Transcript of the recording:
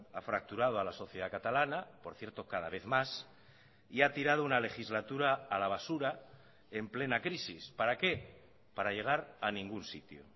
ha fracturado a la sociedad catalana por cierto cada vez más y ha tirado una legislatura a la basura en plena crisis para qué para llegar a ningún sitio